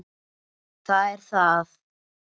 Það er það.